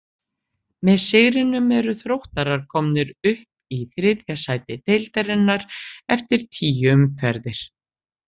Með sigrinum eru Þróttarar komnir upp í þriðja sæti deildarinnar eftir tíu umferðir.